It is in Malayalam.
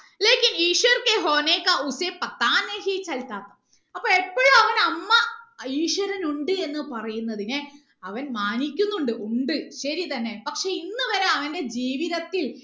അപ്പൊ എപ്പോഴും അവൻ അമ്മ ഈശ്വരൻ ഉണ്ട് എന്ന് പറയുന്നതിനെ അവൻ മാനിക്കുന്നുണ്ട് ഉണ്ട് ശരി തന്നെ പക്ഷെ ഇന്നുവരെ അവന്റെ ജീവിതത്തിൽ